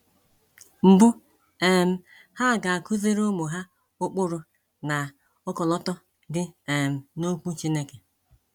Mbụ, um ha ga-akụziri ụmụ ha ụkpụrụ na ọkọlọtọ dị um n’Okwu Chineke.